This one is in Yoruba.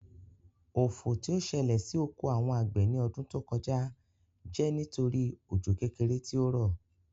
Ofò tí ó sẹlẹ̀ sí oko àwọn àgbẹ̀ ní ọdún tó kọjá jẹ́ nítorí òjò kékeré tí ó rọ̀